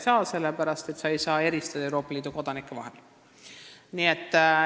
Sellepärast ei saa siin Euroopa Liidu kodanikke eristada.